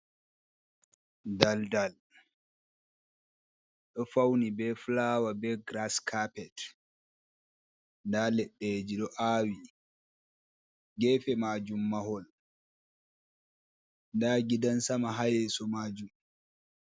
Dal dal, ɗo fauni be fulawa be girass kapet, nda leɗɗeji ɗo aawi, geefe maajun mahol, nda gidan sama ha yeeso majum.